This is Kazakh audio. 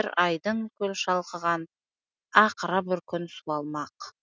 бір айдын көл шалқыған ақыры бір күн суалмақ